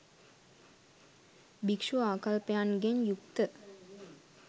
භික්ෂූ ආකල්පයන්ගෙන් යුක්ත